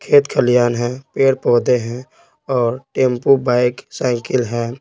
खेत खलियान है पेड़ पौधे हैं और टेंपो बाइक साइकिल हैं।